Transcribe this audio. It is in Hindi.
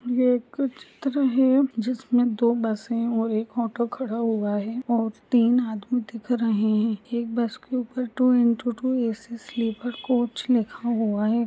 ये एक चित्र है जिसमे दो बसे और एक ऑटो खड़ा हुआ है और तीन आदमी दिख रहे है एक बस के ऊपर two into two AC sleeper coach लिखा हुआ है।